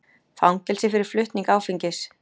Fangelsi fyrir flutning áfengis